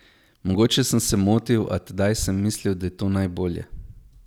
Mogoče sem se motil, a tedaj sem mislil, da je to najbolje.